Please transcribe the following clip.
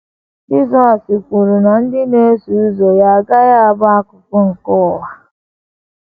Jizọs kwuru na ndị na - eso ụzọ ya ‘ agaghị abụ akụkụ nke ụwa. ’